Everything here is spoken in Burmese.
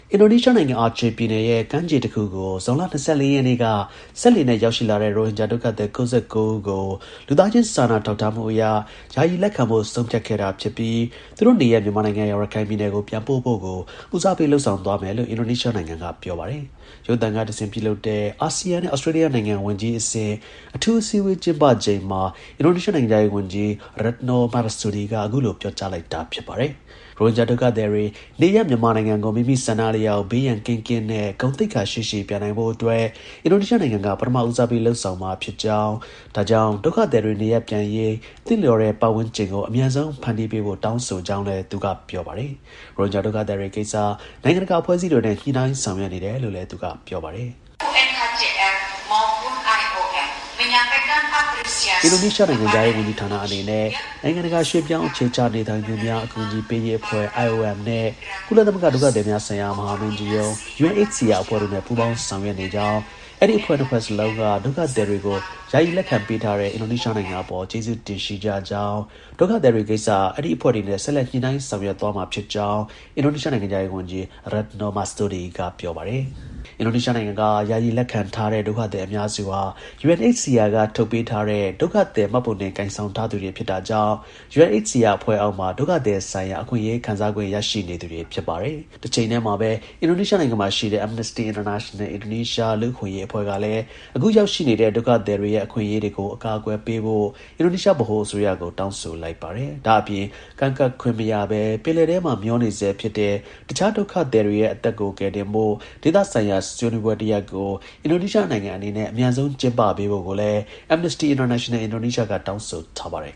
အင်ဒိုနီးရှားနိုင်ငံ၊ Aceh ပြည်နယ် ကမ်းခြေတစ်ခုကို ဇွန်လ ၂၄ ရက်နေ့က စက်လှေနဲ့ ရောက်ရှိလာတဲ့ ရိုဟင်ဂျာ ဒုက္ခသည် ၉၉ ဦးကို လူသားချင်း စာနာ ထောက်ထားမှုအရ ယာယီ လက်ခံဖို့ ဆုံးဖြတ်ခဲ့တာဖြစ်ပြီး သူတို့ရဲ့ နေရပ် မြန်မာနိုင်ငံ၊ ရခိုင်ပြည်နယ်ကို ပြန်ပို့ဖို့ကို ဦးစားပေး လုပ်ဆောင်သွားမယ်လို့ အင်ဒိုနီးရှားနိုင်ငံက ပြောပါတယ်။ ရုပ်သံက တဆင့် ပြုလုပ်တဲ့ အာဆီယံနဲ့ ဩစတြေးလျနိုင်ငံ ဝန်ကြီးအဆင့် အထူး အစည်းအဝေးကျင်းပချိန်မှာ အင်ဒိုနီးရှားနိုင်ငံခြား ရေး ဝန်ကြီး Retno Marsudi အခုလို ပြောကြားလိုက်တာ ဖြစ်ပါတယ်။ ရိုဟင်ဂျာ ဒုက္ခသည်တွေ နေရပ် မြန်မာနိုင်ငံကို မိမိ ဆန္ဒ အလျောက်ဘေးရန်ကင်းကင်းနဲ့ ဂုဏ်သိက္ခာ ရှိရှိ ပြန်နိုင်ဖို့အတွက် အင်ဒိုနီးရှားနိုင်ငံက ပထမဦးစားပေး လုပ်ဆောင်မှာ ဖြစ်ကြောင်း၊ ဒါကြောင့် ဒုက္ခသည်တွေ နေရပ်ပြန်နိုင်ရေး သင့်လျော်တဲ့ ပတ်ဝန်းကျင်ကို အမြန်ဆုံး ဖန်တီးပေးဖို့ တောင်းဆိုကြောင်းလည်း သူက ပြောပါတယ်။ ရိုဟင်ဂျာဒုက္ခသည်တွေကိစ္စ နိုင်ငံတကာ အဖွဲ့အစည်းတွေနဲ့ ညှိနှိုင်းဆောင်ရွက်နေတယ်လို့လည်း သူက ပြောပါတယ်။ “အင်ဒိုနီးရှားနိုင်ငံခြားရေးဝန်ကြီးဌာန အနေနဲ့ နိုင်ငံ တကာ ရွှေ့ပြောင်းသူအခြေချနေထိုင်သူများ အကူအညီပေးရေးအဖွဲ့ (IOM) နဲ့ကုလ သမဂ္ဂ ဒုက္ခသည်များဆိုင်ရာ မဟာမင်းကြီးရုံး UNHCR အဖွဲ့ တို့နဲ့ ညှိနှိုင်းဆောင်ရွက်နေကြောင်း၊ အဲဒီ နှစ်ဖွဲ့စလုံးကဒုက္ခသည် တွေကို ယာယီ လက်ခံပေးတဲ့ အင်ဒိုနီးရှား နိုင်ငံ အပေါ် ကျေးဇူးတင်ရှိကြကြောင်း၊ ဒုက္ခသည်တွေ ကိစ္စ အဲဒီ အဖွဲ့တွေနဲ့ ဆက်လက် ညှိနှိုင်းဆောင်ရွက်သွားမှာ ဖြစ်ကြောင်း အင်ဒိုနီးရှားနိုင်ငံခြား ရေး ဝန်ကြီး Retno Marsudi က ပြောပါတယ်။ အင်ဒိုနီရှားနိုင်ငံက ယာယီ လက်ခံထားတဲ့ ဒုက္ခသည် အများစုဟာ UNHCR ထုတ်ပေးထားတဲ့ ဒုက္ခသည် မှတ်ပုံတင်ကိုင်ဆောင်ထား သူတွေ ဖြစ်တာကြောင့် UNHCR အဖွဲ့အောက်မှာ ဒုက္ခသည်ဆိုင်ရာ အခွင့်အရေးခံစားခွင့် ရှိနေသူတွေ ဖြစ်ပါတယ်။ တစ်ချိန်တည်းမှာပဲ အင်ဒိုနီးရှားနိုင်ငံက Amnesty International Indonesia လူ့အခွင့်အရေး လှုပ်ရှားမှုအဖွဲ့ ကလည်း အခုရောက်ရှိနေတဲ့ ဒုက္ခသည်တွေရဲ့ အခွင်အရေးတွေကို အကာအကွယ်ပေးဖို့ အင်ဒိုနီးရှား ဗဟို အစိုးရကို တောင်းဆိုလိုက်ပါတယ်။ ဒါ့အပြင် ကမ်းကပ်ခွင့်မရဘဲ ပင်လယ်ထဲမှာ မျောနေဆဲ ဖြစ်တဲ့ တခြား ဒုက္ခသည်တွေရဲ့ အသက်ကို ကယ်တင်ဖို့ ဒေသဆိုင်ရာ ဆွေးနွေးပွဲတစ်ရပ်ကို အင်ဒိုနီးရှားနိုင်ငံအနေနဲ့ အမြန်ဆုံး ကျင်းပပေးဖို့ကိုလည်း Amnesty International Indonesia ကတောင်းဆိုထားပါတယ်